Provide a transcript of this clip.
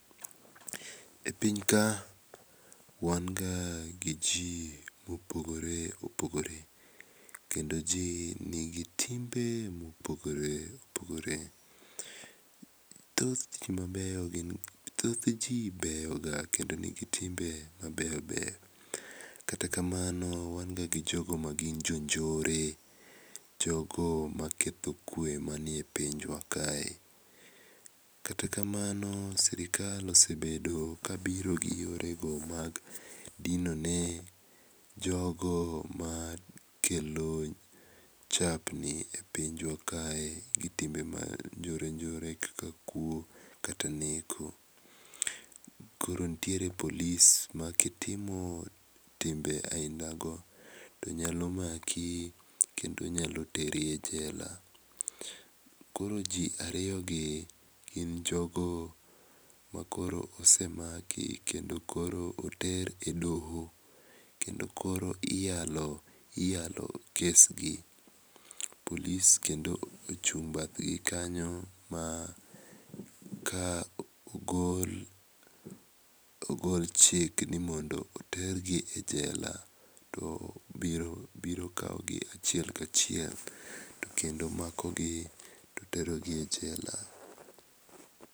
E pinyka wan ga gi ji mopogore opogore kendo ji nigi timbe mopogore opogore. Thoth ji mabeyo gin thoth ji beyoga kendo nigi timbe mabeyo beyo, kata kamano wan ga gi joo magin jo njore, jogo maketho kwe man e pinywa. Kata kamano sirkal osebedo ka biro gi yorego mag dino ne jogo makelo chapni e pinywa kae gi timbe mag njore njore kaka kuo kata neko. Koro nitiee police ma kitimo timbe ainago to nyalo maki kendo nyalo teri e jela. Koro ji ariyo gi gin jogo m,akoro osemaki kendo koro oter e doho kendo koro iyalokes gi. police kendo ochung' bath gi kanyo ka ogol chik ni mondo oter ji e jela to obiro kawogi achiel kachiel to kendo omakogi to oterogi e jela.